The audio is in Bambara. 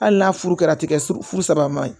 Hali n'a furu kɛra a tɛ kɛ furu saba ma